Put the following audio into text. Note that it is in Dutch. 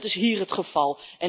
Dat is hier het geval.